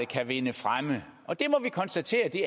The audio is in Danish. kan vinde fremme og det må vi konstatere at de